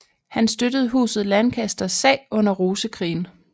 Han støttede Huset Lancasters sag under Rosekrigen